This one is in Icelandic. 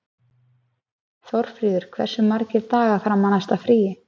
Þórfríður, hversu margir dagar fram að næsta fríi?